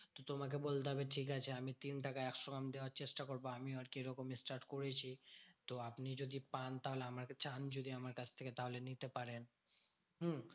তোমাকে বলতে হবে ঠিকাছে আমি তিন টাকায় একশো গ্রাম দেওয়ার চেষ্টা করবো। আমিও আরকি এরকম start করেছি। তো আপনি যদি পান তাহলে আমাকে চান যদি আমার কাছ থেকে তাহলে নিতে পারেন। হম